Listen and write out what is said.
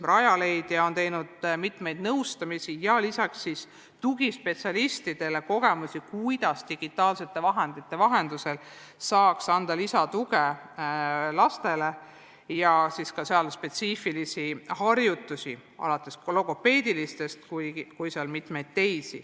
Rajaleidja on pakkunud mitmesugust nõustamist ja jaganud tugispetsialistidele kogemusi, kuidas digitaalsete vahendite kaudu saaks lastele anda lisatuge, ning teinud ka spetsiifilisi harjutusi, alates logopeedilistest ja lõpetades mitmete muudega.